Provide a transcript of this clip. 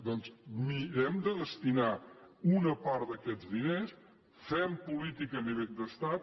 doncs mirem de destinar una part d’aquests diners fem política a nivell d’estat